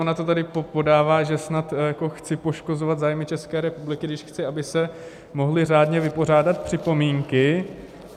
Ona to tady podává, že snad jako chci poškozovat zájmy České republiky, když chci, aby se mohly řádně vypořádat připomínky.